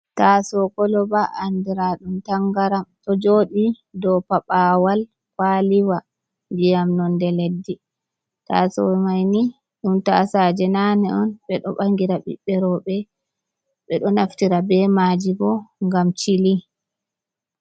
Taaso koloba andiraa ɗum tangaram. Ɗo jooɗi dou paɓawal kwaliwa ndiyam nonde leddi. Taaso mai ni ɗum taasaje nane on. Ɓe ɗo bangira ɓiɓɓe rowɓe. Ɓe ɗo naftira be maaji bo, ngam cili.